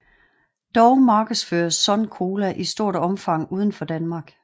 Dog markedsføres Sun Cola i stort omfang udenfor Danmark